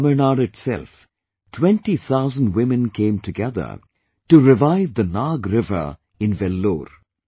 In Tamil Nadu itself, 20 thousand women came together to revive the Nag river in Vellore